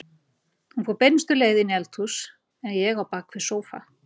Hún fór beinustu leið inn í eldhús en ég á bakvið sófa.